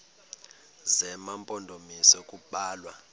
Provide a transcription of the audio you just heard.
zema mpondomise kubalwa